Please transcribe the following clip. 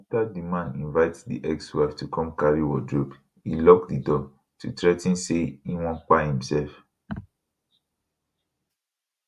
afta di man invite di ex wife to come carry wardrobe e lock di door to threa ten say e wan kpai imsef